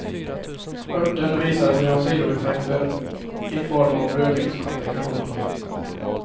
Örten visade sig ha sidoeffekter i form av blödningskomplikationer.